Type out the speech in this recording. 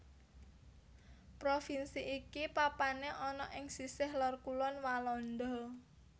Provinsi iki papané ana ing sisih lor kulon Walanda